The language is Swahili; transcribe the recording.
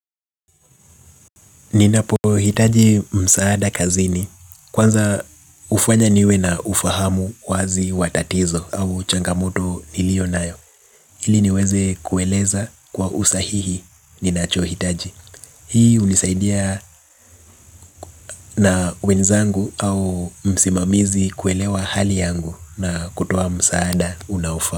Ninapo hitaji msaada kazini kwanza hufanya niwe na ufahamu wazi watatizo au changamoto nilio nayo ili niweze kueleza kwa usahihi ni nacho hitaji. Hii hunisaidia na wenzangu au msimamizi kuelewa hali yangu na kutoa msaada unaofaa.